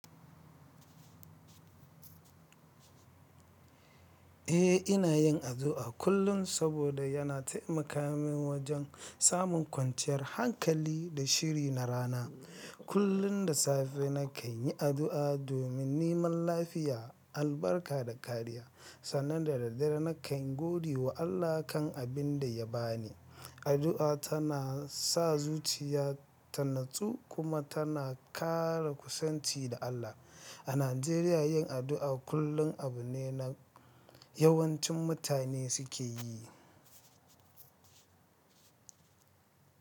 Eh, ina yin addu'a kullum saboda yana taimaka min wajen samun kwanciyar hankali da shiri na rana. Kullum da safe, nakan yi addu'a domin neman lafiya, albarka da kariya, sannan da daddare nakan godewa Allah kan abin da ya ba ni. Addu'a tana sa zuciya ta natsu kuma tana kara kusanci da Allah. A Najeriya, yin addu'a kullum abu ne da yawancin mutane suke yi.